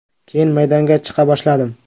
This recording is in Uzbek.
Keyin maydonga chiqa boshladim.